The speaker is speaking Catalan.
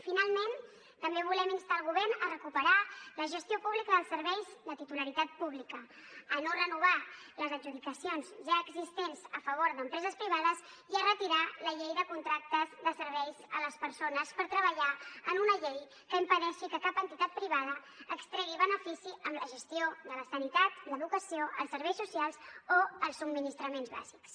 finalment també volem instar el govern a recuperar la gestió pública dels serveis de titularitat pública a no renovar les adjudicacions ja existents a favor d’empreses privades i a retirar la llei de contractes de serveis a les persones per treballar en una llei que impedeixi que cap entitat privada extregui benefici amb la gestió de la sanitat l’educació els serveis socials o els subministraments bàsics